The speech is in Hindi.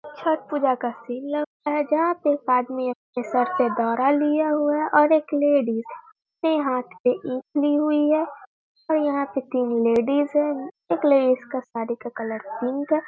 छठ पूजा का सीन लगता है जहाँ पे एक आदमी अपने सर पे दौरा लिए हुए है और एक लेडीज ने हाथ में ईंट ली हुई है और यहाँ पे तीन लेडीज हैं एक लेडीज के साड़ी का कलर पिंक है।